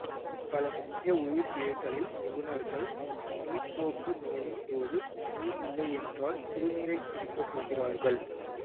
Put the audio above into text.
பல முக்கிய உயிர்பிழைத்தலில் நிபுணர்கள் நீர்ப்போக்கு நோயின் போது நீர் இல்லையென்றால் சிறுநீரை குடிக்கச் சொல்கிறார்கள்